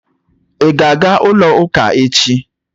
Ị ga-aga ụlọ ụka echi?